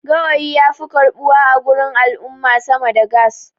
gawayi ya fi karɓuwa a gurin al'umma sama da gas